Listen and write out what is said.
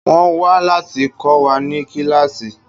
Wọ́n wà láti kọ́ wa ní kíláàsì.